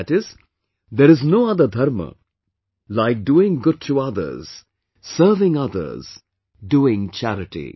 That is, there is no other Dharma like doing good to others, serving others, doing charity